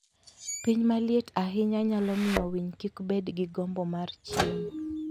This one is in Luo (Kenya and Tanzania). Piny maliet ahinya nyalo miyo winy kik bed gi gombo mar chiemo.